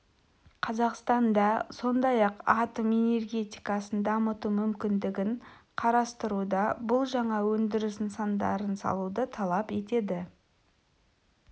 қазақстан да сондай-ақ атом энергетикасын дамыту мүмкіндігін қарастыруда бұл жаңа өндіріс нысандарын салуды талап етеді